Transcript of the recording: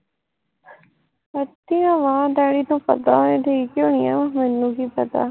ਵਧੀਆ ਵਾ ਡੈਡੀ ਨੂ ਪਤਾ ਹੋਏ ਠੀਕ ਹੀ ਹੋਣੀ ਆ ਮੈਨੂੰ ਕੀ ਪਤਾ